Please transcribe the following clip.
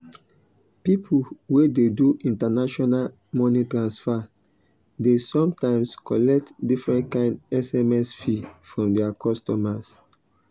people wey dey do international money transfer dey sometimes collect different kind sms fee from their customers.